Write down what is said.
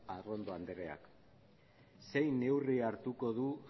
arrondo andreak zein neurri hartuko du